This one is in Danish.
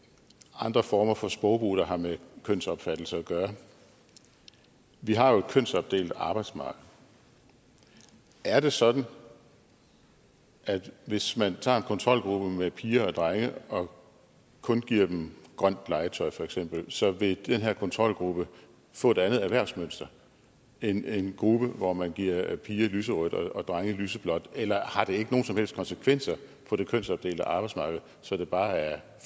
andre former for sprogbrug der har med kønsopfattelse at gøre vi har jo et kønsopdelt arbejdsmarked er det sådan at hvis man tager en kontrolgruppe med piger og drenge og kun giver dem grønt legetøj feks så vil den her kontrolgruppe få et andet erhvervsmønster end en gruppe hvor man giver piger lyserødt legetøj og drenge lyseblåt eller har det ikke nogen som helst konsekvenser for det kønsopdelte arbejdsmarked så det bare er